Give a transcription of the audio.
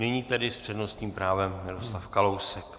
Nyní tedy s přednostním právem Miroslav Kalousek.